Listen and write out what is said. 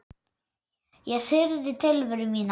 Ég syrgði tilveru mína.